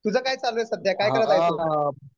तुझं काय चालू आहे सध्या? काय करत आहे तू?